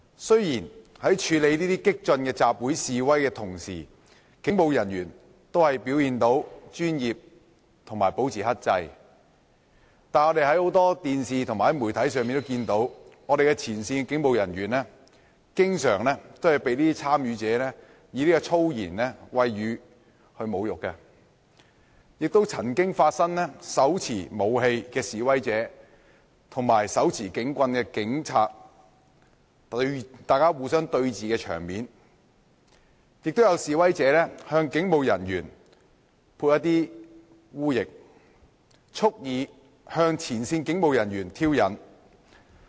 雖然在處理這些激進的集會示威時，警務人員都表現專業及保持克制，但我們在電視及許多媒體上，看到前線警務人員經常被示威者以粗言穢語侮辱，亦看到手持武器的示威者與手持警棍的警察對峙的場面，也有示威者向警務人員潑污液，蓄意向前線警務人員挑釁。